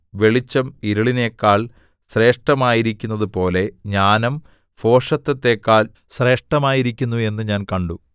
വെളിച്ചം ഇരുളിനെക്കാൾ ശ്രേഷ്ഠമായിരിക്കുന്നതുപോലെ ജ്ഞാനം ഭോഷത്തത്തെക്കാൾ ശ്രേഷ്ഠമായിരിക്കുന്നു എന്നു ഞാൻ കണ്ടു